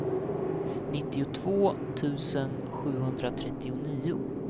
nittiotvå tusen sjuhundratrettionio